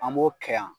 An b'o kɛ yan